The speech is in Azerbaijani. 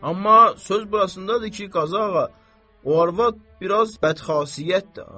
Amma söz burasındadır ki, Qazı ağa, o arvad biraz bədxasiyyətdir ha.